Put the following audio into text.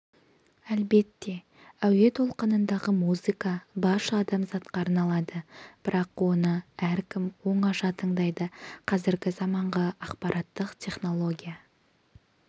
әлбетте әуе толқынындағы музыка барша адамзатқа арналады бірақ оны әркім оңаша тыңдайды қазіргі заманғы ақпараттық технология